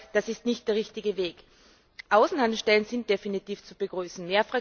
Ich glaube, das ist nicht der richtige Weg. Außenhandelsstellen sind definitiv zu begrüßen.